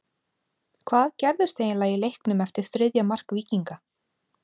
Hvað gerðist eiginlega í leiknum eftir þriðja mark Víkinga?